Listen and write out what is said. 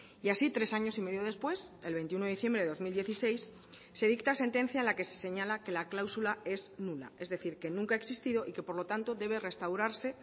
y así tres años y medio después el veintiuno de diciembre de dos mil dieciséis se dicta sentencia en la que se señala que la cláusula es nula es decir que nunca ha existido y que por lo tanto debe restaurarse